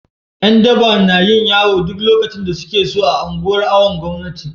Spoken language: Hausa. Yandaba nayin yawo duk lokacin da sukeso a unguwanin awon gomnati